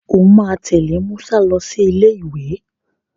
O máa tẹ̀lé Musa lọ sí ilé ìwé.